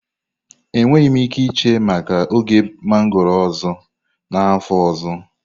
Enweghị m ike iche maka oge mango ọzọ n'afọ ọzọ.